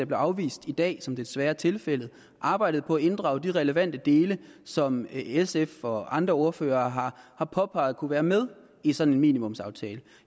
blev afvist i dag som det desværre er tilfældet arbejdede på at inddrage de relevante dele som sfs og andre ordførere har påpeget kunne være med i sådan en minimumsaftale